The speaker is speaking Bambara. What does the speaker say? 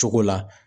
Cogo la